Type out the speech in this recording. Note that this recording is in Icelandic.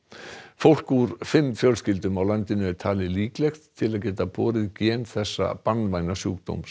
fólk úr fimm fjölskyldum á landinu er talið líklegt til að geta borið gen þessa banvæna sjúkdóms